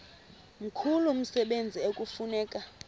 mkhulu umsebenzi ekufuneka